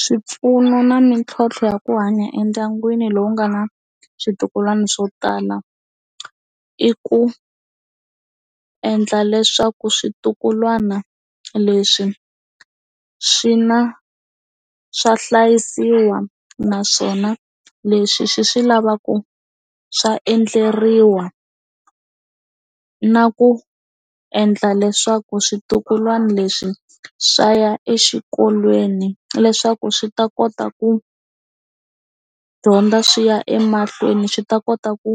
Swipfuno na mitlhontlho ya ku hanya endyangwini lowu nga na swintukulwana swo tala i ku endla leswaku swintukulwana leswi swi na swa hlayisiwa naswona leswi swi swi lavaku swa endleriwa na ku endla leswaku switukulwana leswi swa ya exikolweni leswaku swi ta kota ku dyondza swi ya emahlweni swi ta kota ku